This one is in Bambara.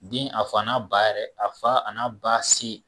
Den a fa na ba yɛrɛ, a fa a na ba se.